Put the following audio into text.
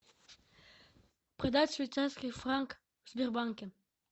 продать швейцарский франк в сбербанке